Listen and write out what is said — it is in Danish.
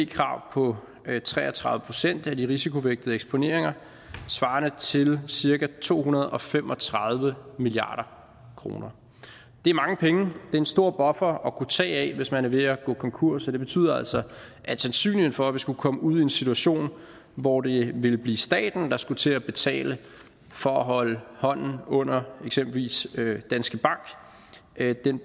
krav på tre og tredive procent af de risikovægtede eksponeringer svarende til cirka to hundrede og fem og tredive milliard kroner det er mange penge er en stor buffer at kunne tage af hvis man er ved at gå konkurs og det betyder altså at sandsynligheden for at vi skulle komme ud i en situation hvor det ville blive staten der skulle til at betale for at holde hånden under eksempelvis danske bank